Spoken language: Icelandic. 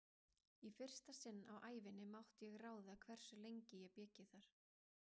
Í fyrsta sinn á ævinni mátti ég ráða hversu lengi ég byggi þar.